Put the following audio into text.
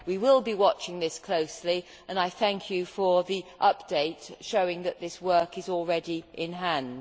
We will be watching this closely and I thank you for the update showing that this work is already in hand.